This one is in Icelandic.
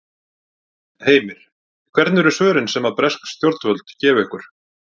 Heimir: Hvernig eru svörin sem að bresk stjórnvöld gefa ykkur?